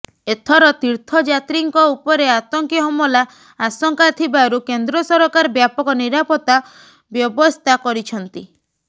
ଏଥର ତୀର୍ଥଯାତ୍ରୀଙ୍କ ଉପରେ ଆତଙ୍କୀ ହମଲା ଆଶଙ୍କା ଥିବାରୁ କେନ୍ଦ୍ର ସରକାର ବ୍ୟାପକ ନିରାପତ୍ତା ବ୍ୟବସ୍ଥା କରିଛନ୍ତି